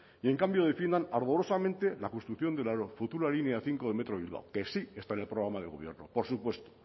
y en cambio defiendan ardorosamente la construcción de la futura línea cinco del metro de bilbao que sí está en el programa de gobierno por supuesto